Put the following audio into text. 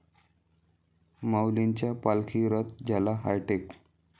माऊलींचा पालखी रथ झाला हायटेक